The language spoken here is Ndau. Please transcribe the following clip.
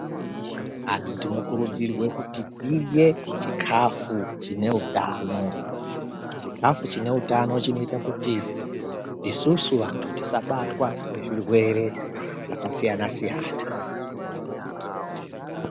Anhu tinokurudzirwe kuti tirye chikhafu chine utano. Chikhafu chine utano chinoita kuti ,isusu vantu tisabatwa ngezvirwere zvakasiyana-siyana.